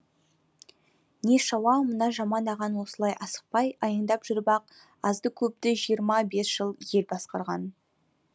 нешауа мына жаман ағаң осылай асықпай аяңдап жүріп ақ азды көпті жиырма бес жыл ел басқарған